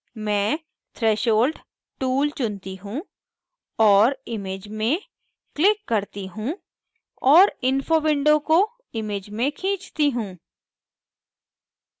मैं threshold tool चुनती हूँ और image में click करती हूँ और info window को image में खींचती हूँ